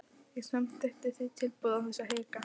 Ég samþykkti því tilboðið án þess að hika.